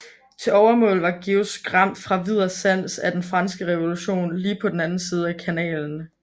Til overmål var Georg skræmt fra vid og sans af den franske revolution lige på den anden side af kanalen